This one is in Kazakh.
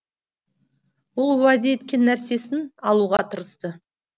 ол уәде еткен нәрсесің алуға тырысты